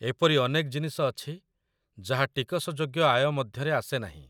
ଏପରି ଅନେକ ଜିନିଷ ଅଛି ଯାହା ଟିକସ ଯୋଗ୍ୟ ଆୟ ମଧ୍ୟରେ ଆସେ ନାହିଁ।